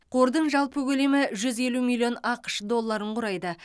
қордың жалпы көлемі жүз елу миллион ақш долларын құрайды